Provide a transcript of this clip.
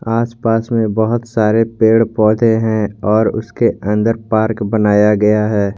आस पास में बहुत सारे पेड़ पौधे हैं और उसके अंदर पार्क बनाया गया हैं।